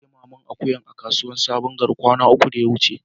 Na siya naman akuyan a kasuwa sabon gari kwana uku da ya wuce.